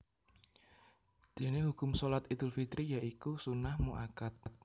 Déné hukum Shalat Idul Fitri ya iku sunnah mu akkad